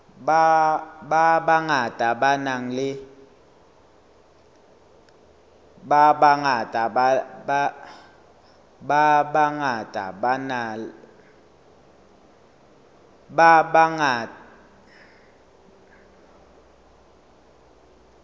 ba bangata ba nang le